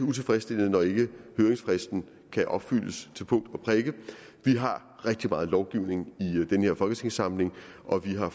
utilfredsstillende når ikke høringsfristen kan opfyldes til punkt og prikke vi har rigtig meget lovgivning i den her folketingssamling og vi har